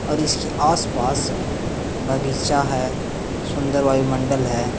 और इसके आसपास बगीचा है। सुंदर वायुमंडल है।